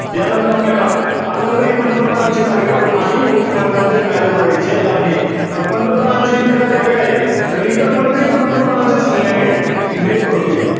त्यानंतर आपल्याला, अजून काही पंतप्रधानांचे कार्य आणि मुख्य मंत्र्यांचे कार्य बघायचे आहे. तर पंतप्रधानांची इतर कार्य काये? तर इतर मंत्री पंतप्रधानांच्या सल्ल्याने नियुक्त होतील.